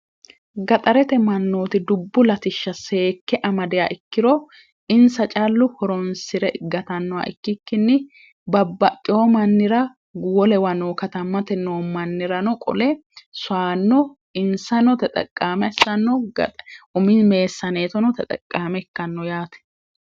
gaxarete mannooti dubbu latishsha seekke amadia ikkiro insa callu horonsi're igatannoha ikkikkinni babbaxxeyo mannira guwolewa noo katammate noo mannirano qole saanno insanote xaqqaama issanno gaxe umii meessaaneetonote xaqqaame ikkanno yaate